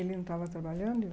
Ele não estava trabalhando?